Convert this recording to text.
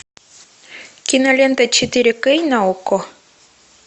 кинолента четыре кей на окко